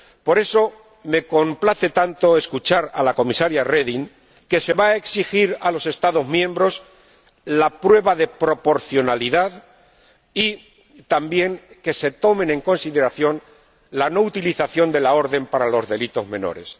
Por eso me complace tanto escuchar decir a la Comisaria Reding que se va a exigir a los Estados miembros la prueba de proporcionalidad y también que se tome en consideración la no utilización de la orden para los delitos menores.